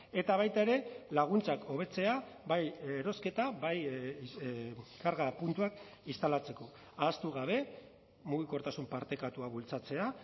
eta baita ere laguntzak hobetzea bai erosketa bai karga puntuak instalatzeko ahaztu gabe mugikortasun partekatua bultzatzea